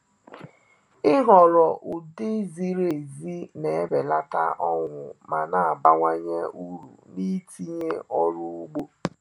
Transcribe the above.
Ịhọrọ ụdị ziri ezi na-ebelata ọnwụ ma na-abawanye uru n’itinye ọrụ ugbo.